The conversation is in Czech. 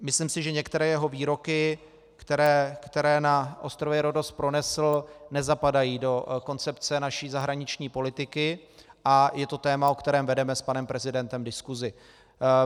Myslím si, že některé jeho výroky, které na ostrově Rhodos pronesl, nezapadají do koncepce naší zahraniční politiky, a je to téma, o kterém vedeme s panem prezidentem diskusi.